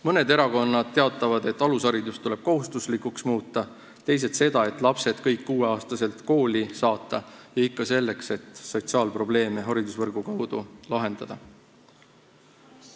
Mõned erakonnad teatavad, et alusharidus tuleb kohustuslikuks muuta, teised seda, et lapsed tuleb kõik 6-aastaselt kooli saata ja ikka selleks, et haridusvõrgu kaudu sotsiaalprobleeme lahendada.